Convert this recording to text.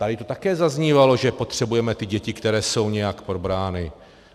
Tady to také zaznívalo, že potřebujeme ty děti, které jsou nějak probrány.